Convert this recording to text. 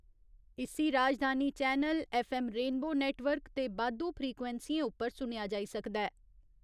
इस्सी राजधानी channel, F M rainbow network ते बाद्धू फ्रीक्वेंसियें उप्पर सुनेआ जाई सकदा ऐ।